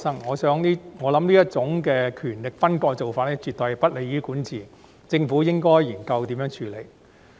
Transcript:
我想這種權力分割的做法絕對不利於管治，政府應研究如何處理。